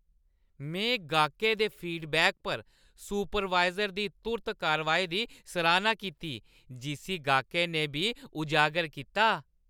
में गाह्कै दे फीडबैक पर सुपरवाइज़र दी तुर्त कारवाई दी सराह्‌ना कीती जिस्सी गाह्कै ने बी उजागर कीता।